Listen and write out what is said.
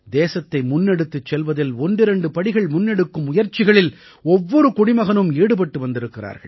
தேசத்தை முன்னெடுத்துச் செல்வதில் ஒன்றிரண்டு படிகள் முன்னெடுக்கும் முயற்சிகளில் ஒவ்வொரு குடிமகனும் ஈடுபட்டு வந்திருக்கிறார்கள்